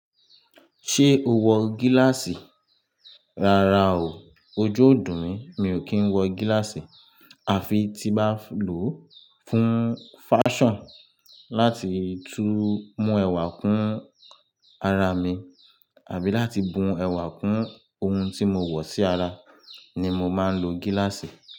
Ṣé o wọ gíláàsì? Rárá o, ojú ò dùn mí, mi ò kí ń wọ gíláàsì, à fi tí n bá lò ó fún fashion láti tún mú ẹwà kún ara mi àbí láti bun ẹwà kún ohun tí mo wọ̀ sí ara ni mo máa ń lo gíláàsì.